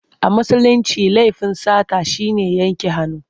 A Musulince laifin sata shi ne yanke hannu.